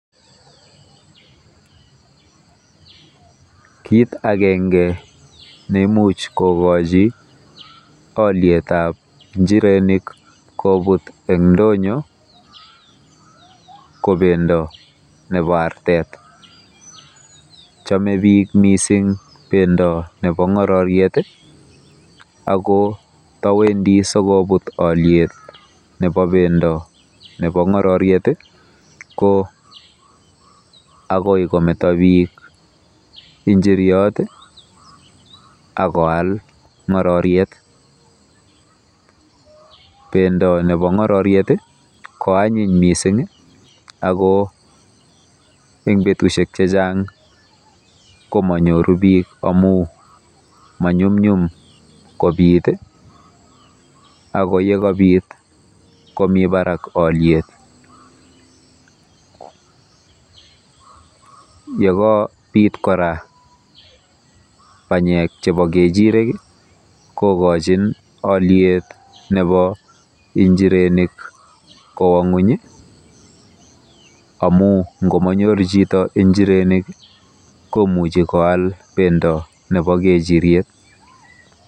kit agenge neimuchi kokochi olyetab njirenik kobut en ndonyo ko bendo nebo artet, chome missing bendo nebo ng'ororyet i ako ndowendi sikobut olyet nebo bendo nebo ng'ororyet i ko agoi kometo biik njiryot ak koal ng'ororyet, bendo nebo ng'ororyet ko anyiny missing ako en betusiek chechang komony'oru biik amun many'umny'um kobit, ako yekobit komi barak olyet, yagobit kora banyek chebo ng'echirek ii kogojin olyet njirenik kowo ny'weny ii amun ng'omonyoru chito njirenik ii komuche koal bendo nebo ng'echiriet.